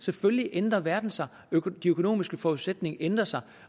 selvfølgelig ændrer verden sig de økonomiske forudsætninger ændrer sig